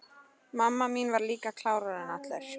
Mamma mín var líka klárari en allir.